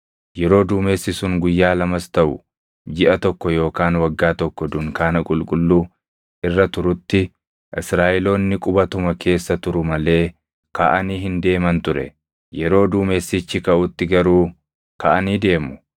Yeroo duumessi sun guyyaa lamas taʼu jiʼa tokko yookaan waggaa tokko dunkaana qulqulluu irra turutti Israaʼeloonni qubatuma keessa turu malee kaʼanii hin deeman ture; yeroo duumessichi kaʼutti garuu kaʼanii deemu.